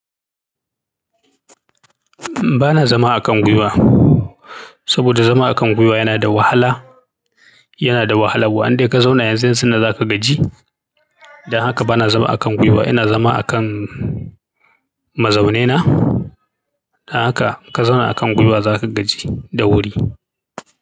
Ba na zama a kan gwiwa, saboda zama a kan gwiwa yana da wahala, yana da wahala. Wa in dai ka zauna yanzu yanzu nan za ka gaji. Dan haka ba na zama a kan gwiwa, ina zama a kan mazaune na. Dan haka ka zauna a kan gwiwa za ka gaji da wuri.